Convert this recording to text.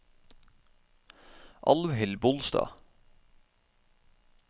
Alvhild Bolstad